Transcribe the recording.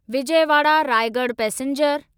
Vijayawada Raigarh passenger